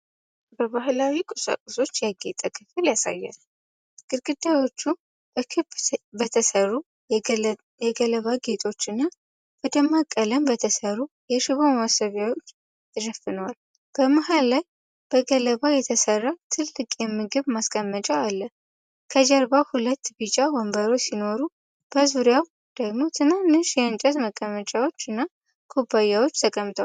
በባህላዊ ቁሳቁሶች ያጌጠ ክፍል ያሳያል። ግድግዳዎቹ በክብ በተሠሩ የገለባ ጌጦችና በደማቅ ቀለም በተሠሩ የሽቦ ማስዋቢያዎች ተሸፍነዋል። በመሃል ላይ ከገለባ የተሠራ ትልቅ የምግብ ማስቀመጫ አለ። ከጀርባ ሁለት ቢጫ ወንበሮች ሲኖሩ በዙሪያው ደግሞ ትናንሽ የእንጨት መቀመጫዎችና ኩባያዎች ተቀምጠዋል።